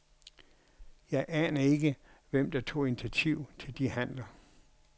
Jeg aner ikke, hvem der tog initiativ til de handler.